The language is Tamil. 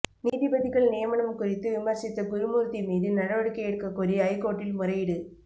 நீதிபதிகள் நியமனம் குறித்து விமர்சித்த குருமூர்த்தி மீது நடவடிக்கை எடுக்கக் கோரி ஐகோர்ட்டில் முறையீடு